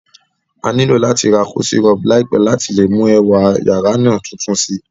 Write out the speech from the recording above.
A nilo láti ra cozy rug láìpẹ́ láti le mú ẹwà yàrá náà tuntun si